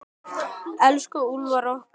Elsku Úlfar okkar.